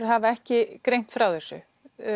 hafa ekki greint frá þessu